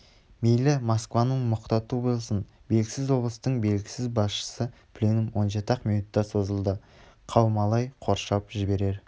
мейлі москваның мұқату болсын белгісіз облыстың белгісіз басшысы пленум он жеті-ақ минутқа созылды қаумалай қоршап жіберер